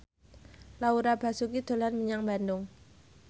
Laura Basuki dolan menyang Bandung